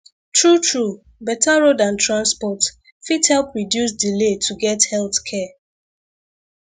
truetrue better road and transport fit help reduce delay to get health care